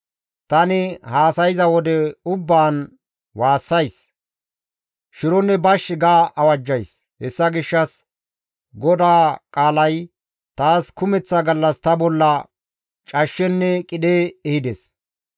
Tani haasayza wode ubbaan waassays; «Shironne bash» ga awajjays; Hessa gishshas GODAA qaalay taas kumeththa gallas ta bolla cashshenne qidhe ehides.